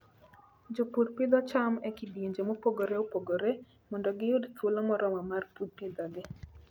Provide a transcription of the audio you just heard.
Jopur pidho cham e kidienje mopogore opogore mondo giyud thuolo moromo mar pidhogi.